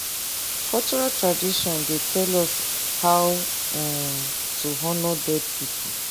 cultural tradition dey tell us how um to honor dead people